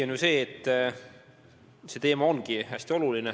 On tõsi, et see teema on hästi oluline.